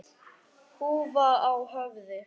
Húfa á höfði.